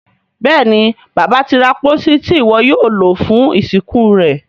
Béèni Bàbá tí ra pósí Ti iwọ yóò lo fún ìsìnkú rẹ.